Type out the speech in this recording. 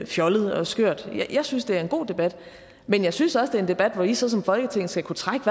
fjollet og skørt jeg synes at det er en god debat men jeg synes også er en debat hvor i så som folketing skal kunne trække